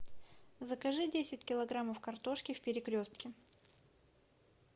закажи десять килограммов картошки в перекрестке